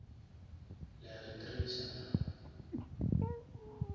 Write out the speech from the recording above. le a re tracer naa